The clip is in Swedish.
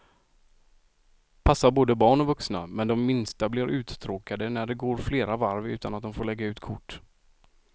Passar både barn och vuxna, men de minsta blir uttråkade när det går flera varv utan att de får lägga ut kort.